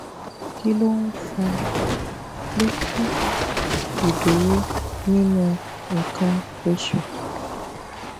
kí ló ń fa pé kí idúró ninu ikan osu